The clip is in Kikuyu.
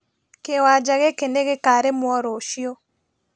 Kĩwanja gĩkĩ nĩgĩkarĩmwo rũciũ